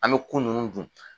An bɛ ku ninnu dun.